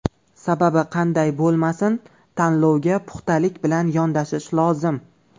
Sababi qanday bo‘lmasin, tanlovga puxtalik bilan yondashish lozim.